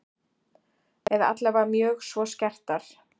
Eða allavega mjög svo skertar.